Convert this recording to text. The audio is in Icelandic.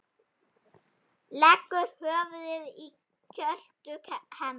Leggur höfuðið í kjöltu hennar.